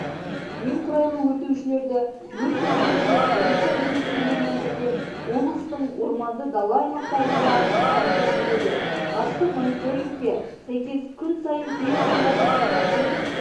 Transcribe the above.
немқұрайлы өртеушілерді өрт сөндірушілер полиция қызметкерлерімен бірге облыстың орманды дала аймақтарында аңдып жүреді ғарыштық мониторингке сәйкес күн сайын кей аудандарда саусақпен